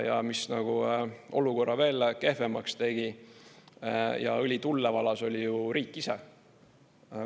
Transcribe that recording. Ja mis olukorra veel kehvemaks tegi ja õli tulle valas, oli ju riik ise.